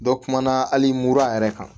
Dɔ kumana hali mura yɛrɛ kan